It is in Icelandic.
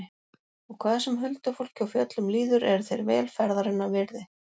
Og hvað sem huldufólki og fjöllum líður eru þeir vel ferðarinnar virði.